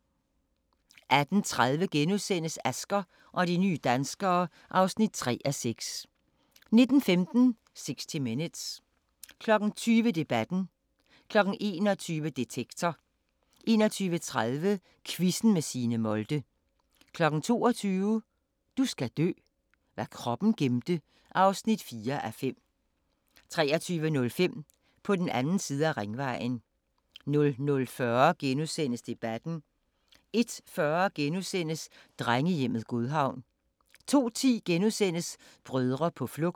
18:30: Asger og de nye danskere (3:6)* 19:15: 60 Minutes 20:00: Debatten 21:00: Detektor 21:30: Quizzen med Signe Molde 22:00: Du skal dø: Hvad kroppen gemte (4:5) 23:05: På den anden side af ringvejen 00:40: Debatten * 01:40: Drengehjemmet Godhavn * 02:10: Brødre på flugt *